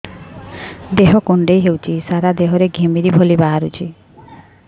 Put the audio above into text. ଦେହ କୁଣ୍ଡେଇ ହେଉଛି ସାରା ଦେହ ରେ ଘିମିରି ଭଳି ବାହାରୁଛି